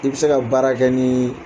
I bɛ se ka baara kɛ ni